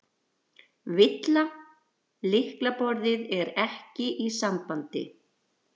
VILLA: Lyklaborðið er ekki í sambandi.